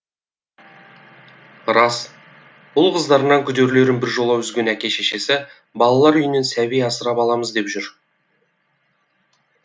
рас ұл қыздарынан күдерлерін біржола үзген әке шешесі балалар үйінен сәби асырап аламыз деп жүр